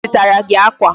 Onye zụtara gị akwa?